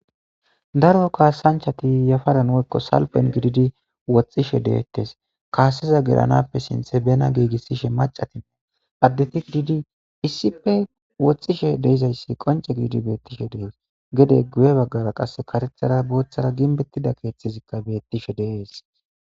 daro kaasanchati yafadan woykko salpen gididi woxxishe deettes kaaseza geranappe sinthe bena giigissishe macatine addeti gdidi issippe woxxishe deizayssi qonce giidi beettishe dees gede guye baggara qas karethara booththara ginbettida keeththizikka beettishe deees